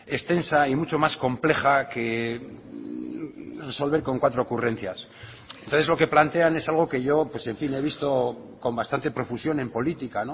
extensa y mucho más compleja que resolver con cuatro ocurrencias entonces lo que plantean es algo que yo pues en fin he visto con bastante profusión en política